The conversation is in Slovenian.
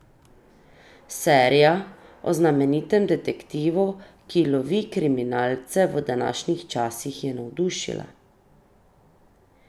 Serija o znamenitem detektivu, ki lovi kriminalce v današnjih časih, je navdušila.